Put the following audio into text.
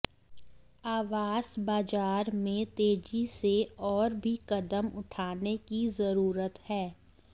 आवास बाजार में तेजी से और भी कदम उठाने की जरूरत है